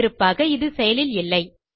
முன்னிருப்பாக இது செயலில் இல்லை